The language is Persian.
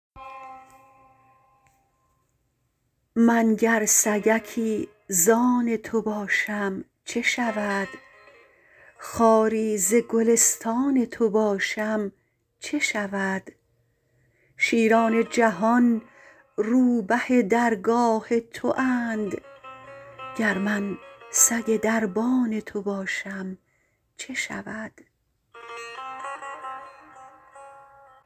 من گر سگکی زان تو باشم چه شود خاری ز گلستان تو باشم چه شود شیران جهان روبه درگاه تواند گر من سگ دربان تو باشم چه شود